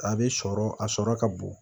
A bɛ sɔrɔ a sɔrɔ ka bon